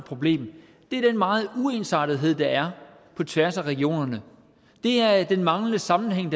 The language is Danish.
problem er den meget uensartethed der er på tværs af regionerne det er den manglende sammenhæng